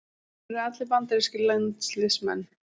Þeir eru allir bandarískir landsliðsmenn